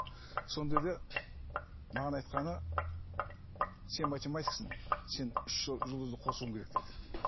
маған айтқаны сен математиксің сен үш жұлдызды қосуың керек деді